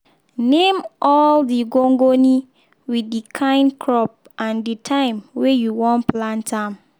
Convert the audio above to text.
name all the gongoni with the kine crop and the time weh you wan plant am.